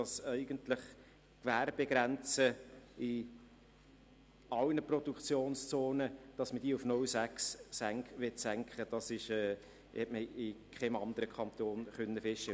In keinem anderen Kanton war festzustellen, dass die Gewerbegrenze in allen Produktionszonen auf 0,6 SAK senken möchte.